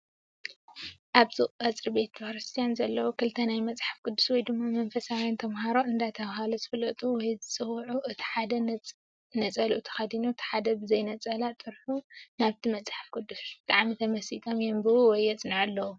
ኣብዚ ቀፅሪ ቤተክርስትያን ዘለዉ ክልተ ናይ መፅሓፍ ቅዱስ ወይ ድማ መንፈሳውያን ተምሃሮ እንዳተበሃሉ ዝፍለጡ ወይ ዝፅውዑ እቲ ሓደ ነፀልኡ ተኸዲኑ እቲ ሓደ ብዘይነፀላ ጥርሑ ናብቲ መፅሓፍ ቅድስ ብጣዕሚ ተመሲጦም የንብቡ ወይ የፅንዑ ኣለዉ፡፡